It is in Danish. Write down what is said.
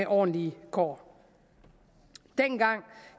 ordentlige kår dengang